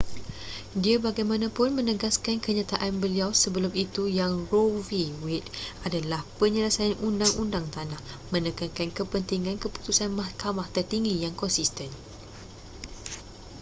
dia bagaimanapun menegaskan kenyataan beliau sebelum itu yang roe v. wade adalah penyelesaian undang-undang tanah”,menekankan kepentingan keputusan mahkamah tertinggi yang konsisten